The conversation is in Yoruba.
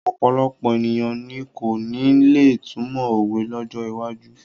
Ọ̀pọ̀lọpọ̀ ènìyàn ni kò ní lè túmọ̀ òwe lọ́jọ́ iwájú.